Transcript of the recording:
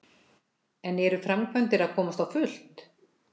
En eru framkvæmdir að komast á fullt?